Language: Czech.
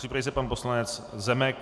Připraví se pan poslanec Zemek.